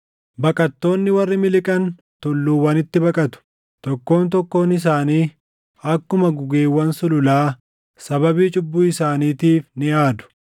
Baqattoonni warri miliqan tulluuwwanitti baqatu. Tokkoon tokkoon isaanii akkuma gugeewwan sululaa sababii cubbuu isaaniitiif ni aadu.